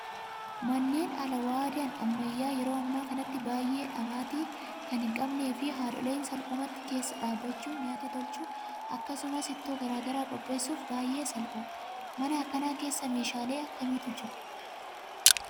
Manneen alwaadaan ammayyaa yeroo ammaa kanatti baay'ee dhamaatii kan hin qabnee fi haadholiin salphumatti keessa dhaabbachuun nyaata tolchuu akkasumas ittoo garaagaraa qopheessuuf baay'ee salphaadha. Mana akkanaa kana keessa meeshaalee akkamiitu jiru?